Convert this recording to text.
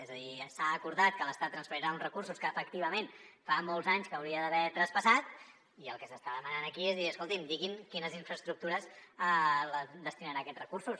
és a dir s’ha acordat que l’estat transferirà uns recursos que efectivament fa molts anys que hauria d’haver traspassat i el que s’està demanant aquí és dir escolti’m diguin a quines infraestructures destinaran aquests recursos